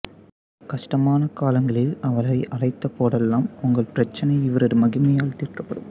கஷ்டமான காலங்களில் அவரை அழைத்த போதெல்லாம் உங்கள் பிரச்சினை இவரது மகிமையால் தீர்க்கப்படும்